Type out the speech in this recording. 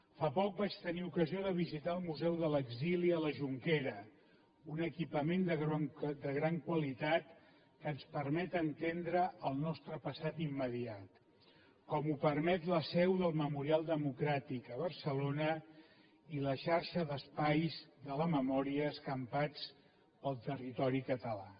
fa poc vaig tenir ocasió de visitar el museu de l’exili a la jonquera un equipament de gran qualitat que ens permet entendre el nostre passat immediat com ho permet la seu del memorial democràtic a barcelona i la xarxa d’espais de la memòria escampats pel territori català